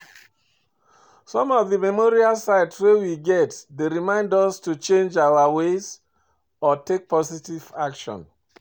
Some of di memorial sites wey we get dey remind us to change our ways or take positive actions